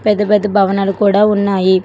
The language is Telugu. పెద్ద పెద్ద భవనాలు కూడా ఉన్నాయి.